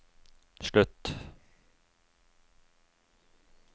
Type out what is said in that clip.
slutt